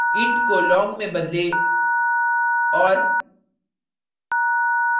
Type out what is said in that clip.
int को long में बदले और